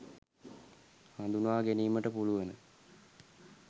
හඳුනා ගැනීමට පුළුවන.